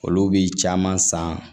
Olu bi caman san